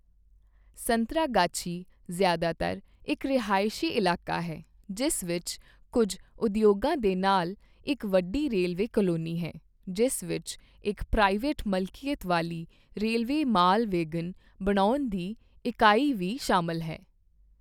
ਸੰਤਰਾਗਾਛੀ ਜ਼ਿਆਦਾਤਰ ਇੱਕ ਰਿਹਾਇਸ਼ੀ ਇਲਾਕਾ ਹੈ ਜਿਸ ਵਿੱਚ ਕੁੱਝ ਉਦਯੋਗਾਂ ਦੇ ਨਾਲ ਇੱਕ ਵੱਡੀ ਰੇਲਵੇ ਕਾਲੋਨੀ ਹੈ, ਜਿਸ ਵਿੱਚ ਇੱਕ ਪ੍ਰਾਈਵੇਟ ਮਲਕੀਅਤ ਵਾਲੀ ਰੇਲਵੇ ਮਾਲ ਵੈਗਨ ਬਣਾਉਣ ਦੀ ਇਕਾਈ ਵੀ ਸ਼ਾਮਲ ਹੈ।